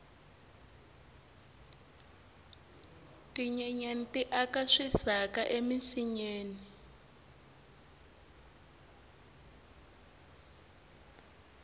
tinyenyani ti aka swisaka eminsinyeni